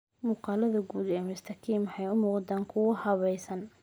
Muuqaallada guud ee Mr. Kim waxay u muuqdaan kuwo habaysan.